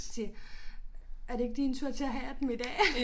Siger er det ikke din tur til at have af dem i dag